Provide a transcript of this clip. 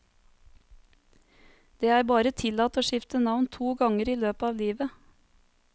Det er bare tillatt å skifte navn to ganger i løpet av livet.